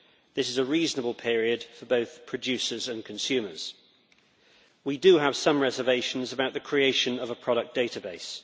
This is a reasonable period for both producers and consumers. We do have some reservations about the creation of a product database.